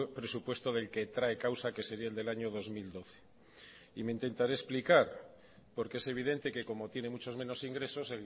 presupuesto del que trae causa que sería el del año dos mil doce y me intentaré explicar porque es evidente que como tiene muchos menos ingresos